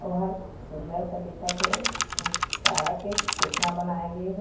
और सूंदर स दिखत हे चारा के कोठना बनाये गे हे।